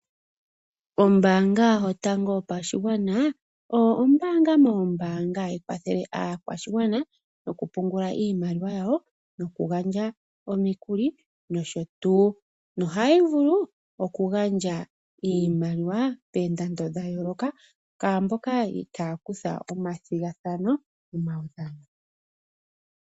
Ombaanga yotango yopashigwana oyo ombaanga moombanga hadhi kwathele aakwashi gwana nokupungula iimaliwa yawo nokugandja omikuli nosho tuu nohayi vulu okugandja iimaliwa poondando dhayooloka kwaamboka itaaya kutha omathigathano momawudhano.